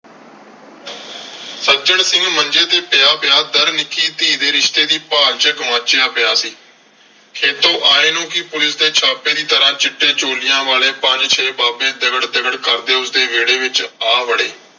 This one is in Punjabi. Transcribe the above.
ਸੱਜਣ ਸਿੰਘ ਮੰਜੇ ਤੇ ਪਿਆ ਪਿਆ . ਨਿੱਕੀ ਧੀ ਦੇ ਰਿਸ਼ਤੇ ਦੀ ਭਾਲ ਚ ਗੁਆਚਿਆ ਪਿਆ ਸੀ। ਖੇਤੋਂ ਆਏ ਨੂੰ ਵੀ ਪੁਲਿਸ ਦੇ ਛਾਪੇ ਦੀ ਤਰ੍ਹਾਂ ਚਿੱਟੇ ਚੋਲਿਆਂ ਵਾਲੇ ਪੰਜ ਛੇ ਬਾਬੇ ਦਗੜ ਦਗੜ ਕਰਦੇ ਉਸਦੇ ਵਿਹੜੇ ਵਿਚ ਆ ਵੜੇ।